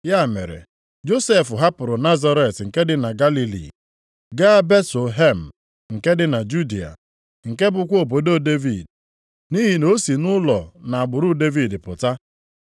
Ya mere Josef hapụrụ Nazaret nke dị na Galili, gaa Betlehem nke dị na Judịa, nke bụkwa obodo Devid, nʼihi na o si nʼụlọ na agbụrụ Devid pụta.